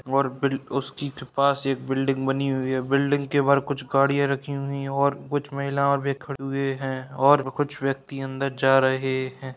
और बिल उसकी कृपा से एक बिल्डिंग बनी हुई है बिल्डिंग के बाहर कुछ गाड़ियां रखी हुई है और कुछ महिला वे खड़े हुए है और कुछ व्यक्ति अंदर जा रहे है।